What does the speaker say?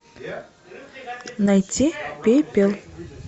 найти пепел